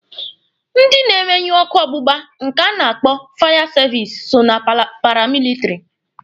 Ndị na-emenyụ ọkụ ọgbụgba nke a na-akpọ fire service so na paramilitiri.